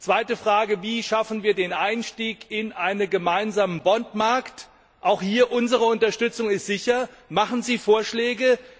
Zweite Frage Wie schaffen wir den Einstieg in einen gemeinsamen Bondsmarkt? Auch hier ist unsere Unterstützung sicher. Machen Sie Vorschläge!